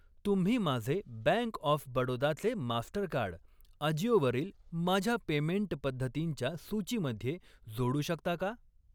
तुम्ही माझे bank of बडोदाचे मास्टरकार्ड, अजिओ वरील माझ्या पेमेंट पद्धतींच्या सूचीमध्ये जोडू शकता का?